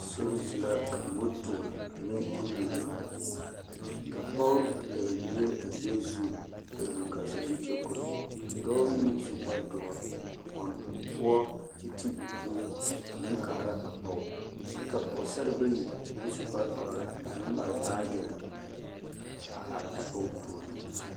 Sori zu la ka moto ane kuriwiri a biŋ ka pɔɡe a pɛɡele bie o ɡbɛɛ zu kyɛ ɡbuli kaa sazu kyɛ kono ka dɔɔ meŋ na su kpardoɔ a pɔn o poɔ kyɛ te o dun a meŋ kaara a pɔɡe kyɛ ka pɔɡesare bayi na su kpardɔre a meŋ mare baaɡe a are a pɔɡe puoriŋ.